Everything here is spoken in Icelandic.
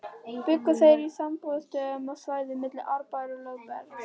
Bjuggu þeir í sumarbústöðum á svæðinu milli Árbæjar og Lögbergs.